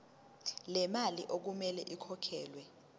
lemali okumele ikhokhelwe